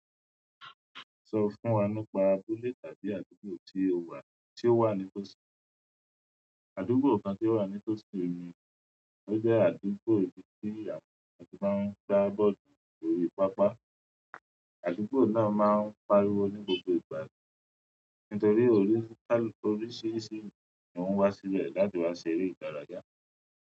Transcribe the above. Sọ fún wa nípa abúlé tàbí àdúgbò tí o wà, tí ó wà ní Tosin. Àdúgbò kan tí ó wà ní Tosin mi, ọ jẹ́ àdúgbò tí àwọn ọkùnrin tó máa ń gbá bọ́ọ̀lù lórí pápá. Àdúgbò náà máa ń pariwo ní gbogbo ìgbà nítorí oríṣiríṣi ènìyàn ló wá síbẹ̀ láti wá ṣeré ìdárayá.